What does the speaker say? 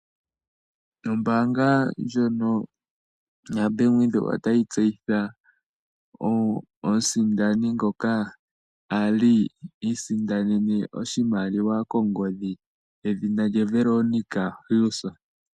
Ombanga ndjono yoBank Windhoek otayi tseyitha omusindani ngoka ali isindanene oshimaliwa kongodhi edhina lye Veronica Hill.